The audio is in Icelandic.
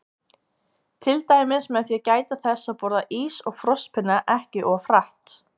Til dæmis með því að gæta þess að borða ís og frostpinna ekki of hratt.